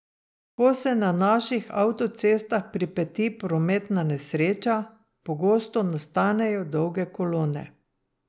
Ko se na naših avtocestah pripeti prometna nesreča, pogosto nastanejo dolge kolone.